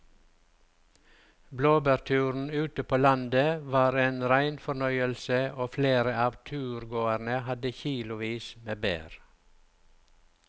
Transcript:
Blåbærturen ute på landet var en rein fornøyelse og flere av turgåerene hadde kilosvis med bær.